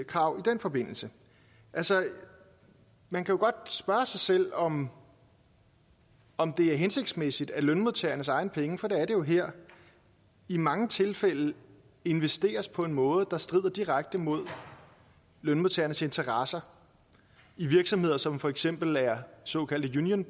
krav i den forbindelse altså man kan godt spørge sig selv om om det er hensigtsmæssigt at lønmodtagernes egne penge for det er det jo her i mange tilfælde investeres på en måde der strider direkte mod lønmodtagernes interesser i virksomheder som for eksempel er såkaldte union